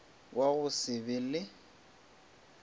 wa go se be le